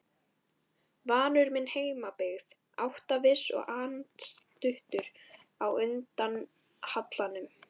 Vanur minni heimabyggð, áttaviss og andstuttur á undan hallanum.